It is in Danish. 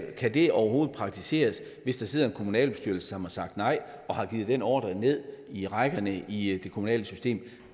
kan det overhovedet praktiseres hvis der sidder en kommunalbestyrelse som har sagt nej og har givet den ordre ned i rækkerne i det kommunale system